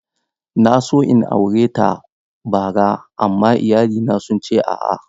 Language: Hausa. Na so in aure ta bara, amma iyalina sun ce a'a.